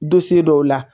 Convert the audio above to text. dɔw la